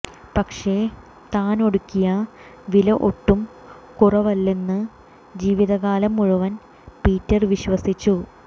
പക്ഷേ താനൊടുക്കിയ വില ഒട്ടും കുറവല്ലെന്ന് ജീവിത കാലം മുഴുവൻ പീറ്റർ വിശ്വസിച്ചു